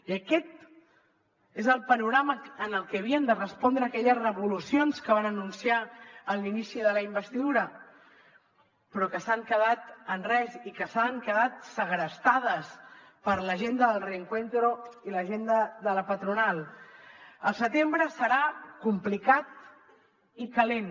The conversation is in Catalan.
i aquest és el panorama al que havien de respondre aquelles revolucions que van anunciar en l’inici de la investidura però que han quedat en res i que han quedat segrestades per l’agenda del reencuentroel setembre serà complicat i calent